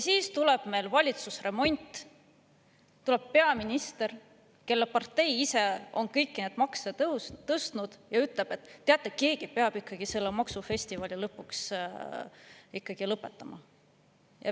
Siis tuleb meil valitsusremont, tuleb peaminister, kelle partei on ise kõiki neid makse tõstnud, ja ütleb, et teate, keegi peab selle maksufestivali lõpuks ikkagi lõpetama.